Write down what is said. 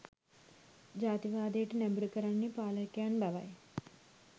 ජාතිවාදයට නැඹුරු කරන්නේ පාලකයන් බවයි